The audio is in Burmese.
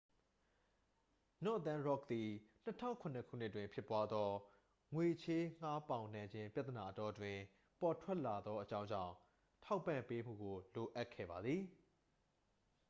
နော့သန်းရော့ခ် သည် 2007 ခုနှစ်တွင်ဖြစ်ပွားသော ငွေချေးငှားပေါင်နှံခြင်းပြဿနာအတောအတွင်း ပေါ်ထွက်လာသောအကြောင်းကြောင့် ထောက်ပံ့ပေးမှုကို လိုအပ်ခဲ့ပါသည်